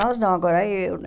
Nós não, agora eu né.